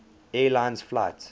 air lines flight